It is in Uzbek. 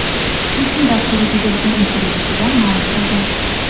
Putin” dasturiga bergan intervyusida ma’lum qilgan .